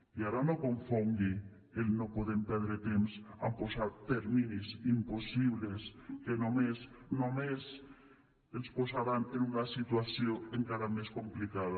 i ara no confongui el no podem perdre temps amb posar terminis impossibles que només només ens posaran en una situació encara més complicada